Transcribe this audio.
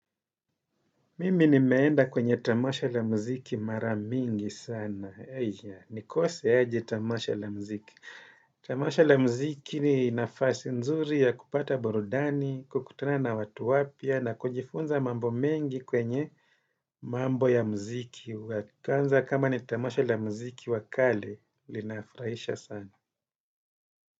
Mimi nimeenda kwenye tamasha la mziki maramingi sana. Eja, nikose aje tamasha la mziki. Tamasha la mziki ni nafasi nzuri ya kupata burudani, kukutana na watu wapya, na kujifunza mambo mengi kwenye mambo ya mziki. Kwanza kama ni tamasha la mziki wa kale, linafurahisha sana.